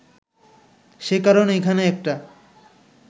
সে কারণে এখানে একটা